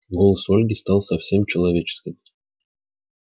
голос ольги стал совсем человеческим